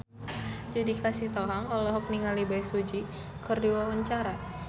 Judika Sitohang olohok ningali Bae Su Ji keur diwawancara